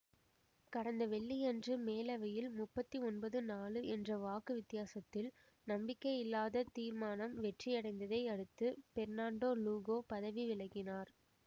கடந்த வெள்ளியன்று மேலவையில் முப்பத்தி ஒன்பது நாழு என்ற வாக்கு வித்தியாசத்தில் நம்பிக்கையில்லா தீர்மானம் வெற்றியடைந்ததை அடுத்து பெர்னான்டோ லூகோ பதவி விலகினார்